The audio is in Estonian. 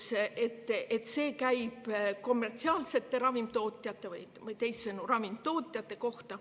See käib kommertsiaalsete ravimitootjate või teisisõnu ravimitootjate kohta.